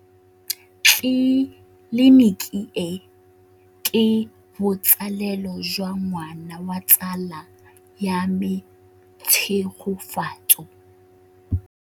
Tleliniki e, ke botsalêlô jwa ngwana wa tsala ya me Tshegofatso.